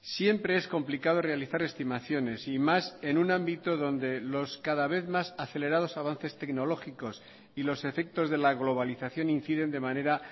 siempre es complicado realizar estimaciones y más en un ámbito donde los cada vez más acelerados avances tecnológicos y los efectos de la globalización inciden de manera